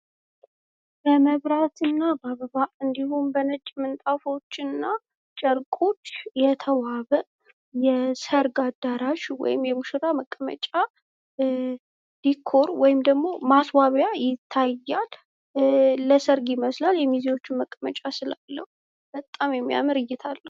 የመብራትናበአበባ እንዲሁም በነጭ ምንጣፎችንና ጨርቆች የተዋበ የሰርግ አዳራሽ ወይም የሙሽራ መቀመጫ ዲኮር ወይም ደግሞ ማስዋቢያ ይታያል። ለሰርግ ይመስላል የሚዜዎች መቀመጫ ስላለው በጣም የሚያምር እይታ አለው።